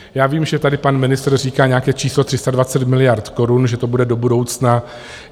Já vím, že tady pan ministr říká nějaké číslo 320 miliard korun, že to bude do budoucna.